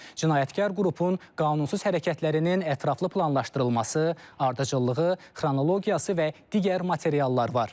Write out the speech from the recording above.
cinayətkar qrupun qanunsuz hərəkətlərinin ətraflı planlaşdırılması, ardıcıllığı, xronologiyası və digər materiallar var.